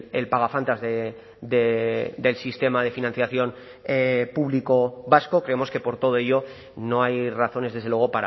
el pagafantas del sistema de financiación público vasco creemos que por todo ello no hay razones desde luego